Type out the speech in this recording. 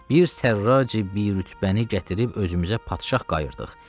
Bir Sərraci bir rütbəni gətirib özümüzə padşah qayırdıq.